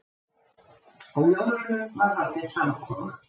Á jólunum var haldin samkoma.